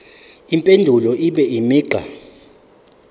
impendulo ibe imigqa